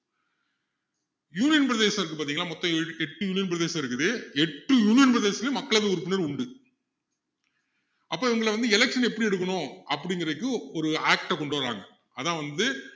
union பிரதேசம் இருக்கு பாத்திங்களா மொத்தம் எட்டு union பிரதேசம் இருக்குது எட்டு union பிரதேசத்துலையும் மக்களவை உறுப்பினர் உண்டு அப்போ இவங்களை வந்து election ல எப்படி எடுக்கணும் அப்படிங்குறதுக்கு ஒரு act அ கொண்டுவர்றாங்க அதான் வந்து